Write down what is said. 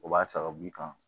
O b'a ta ka b'i kan